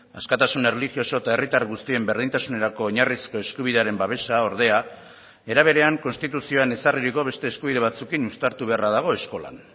askatasun erlijioso eta herritar guztien berdintasunerako oinarrizko eskubidearen babesa ordea era berean konstituzioan ezarririko beste eskubide batzuekin uztartu beharra dago eskolan